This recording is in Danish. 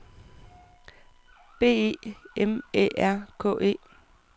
B E M Æ R K E